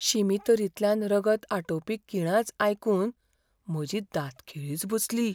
शिमितरींतल्यान रगत आटोवपी किळांच आयकून म्हजी दांतखिळीच बसली.